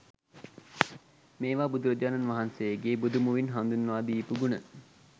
මේවා බුදුරජාණන් වහන්සේගේ බුදු මුවින් හඳුන්වා දීපු ගුණ.